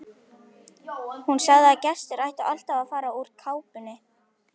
Hún sagði að gestir ættu alltaf að fara úr kápunni.